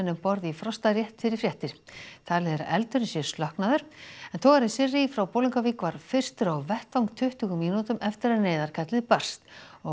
um borð í Frosta rétt fyrir fréttir talið er að eldurinn sé slokknaður togarinn Sirrý frá Bolungarvík var fyrstur á vettvang tuttugu mínútum eftir að neyðarkallið barst